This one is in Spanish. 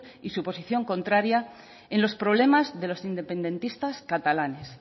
y su posición contraría en los problemas de los independentistas catalanes